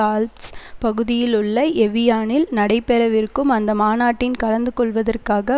Alps பகுதியிலுள்ள எவியானில் நடைபெறவிருக்கும் அந்த மாநாட்டில் கலந்துகொள்வதற்காக